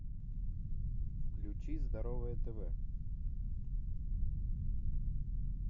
включи здоровое тв